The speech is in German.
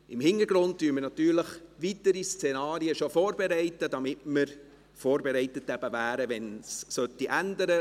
Im Hintergrund bereiten wir natürlich weitere Szenarien bereits vor, damit wir vorbereitet sind, falls sich etwas ändert.